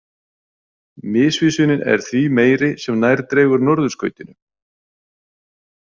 Misvísunin er því meiri sem nær dregur Norðurskautinu.